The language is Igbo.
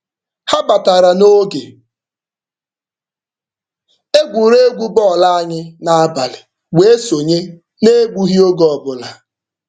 Ha batara n'oge egwuregwu bọọlụ anyị n'abalị wee sonye n'egbughị oge ọbụla.